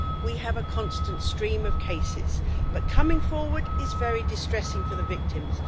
We have a constant stream of cases, but coming forward is very distressing for the victims.